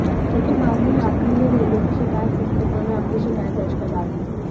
लेकिन बाद में यात्री ने रेलवे की शिकायत पुस्तिका में अपनी शिकायत दर्ज करवा दी